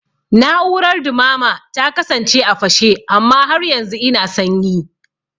Na'urar dumama ta kasance a fashe amma har yanzu ina sanyi